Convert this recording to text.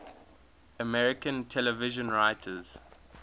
american television writers